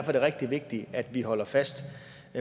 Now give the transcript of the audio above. er det rigtig vigtigt at vi holder fast